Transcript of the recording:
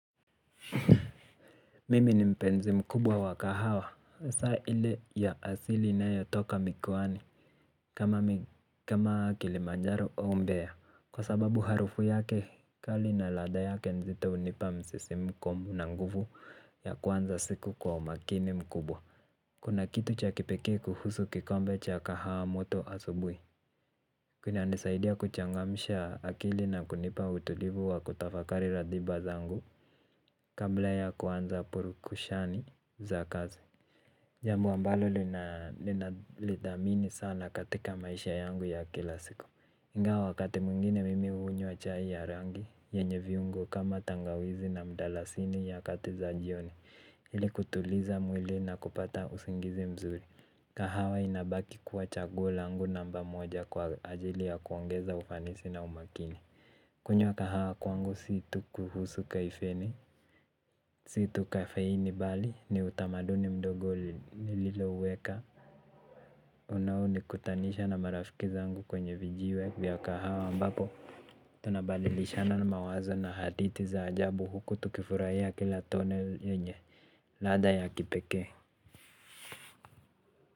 Mimi ni mpenzi mkubwa wa kahawa Saile ya asili inayotoka mikoani. Kama kilimanjaro au mbea. Kwa sababu harufu yake kali na ladha yake nzito unipa msisimko na nguvu ya kuanza siku kwa umakini mkubwa. Kuna kitu cha kipekee kuhusu kikombe cha kahawa moto asubui. Kuna nisaidia kuchangamisha akili na kunipa utulivu wa kutafakari ratiba zangu kabla ya kuanza purukushani za kazi jambo ambalo lina lidhamini sana katika maisha yangu ya kila siku ingawa wakati mwingine mimi hunywa chai ya rangi yenye viungo kama tangawizi na mdalasini ya kati za jioni ili kutuliza mwili na kupata usingizi mzuri. Kahawa inabaki kuwa chaguo langu namba moja kwa ajili ya kuongeza ufanisi na umakini. Kunywa kahawa kwangu si tu kuhusu kaifeni. Situ kafeini bali ni utamaduni mdogo nililo uweka. Unaonikutanisha na marafiki zangu kwenye vijiwe vya kahawa ambapo tunabadilishana na mawazo na hadithi za ajabu huku tukifurahia kila tone yenye ladha ya kipeke.